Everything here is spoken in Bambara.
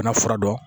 N ka fura dɔn